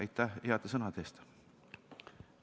Aitäh heade sõnade eest!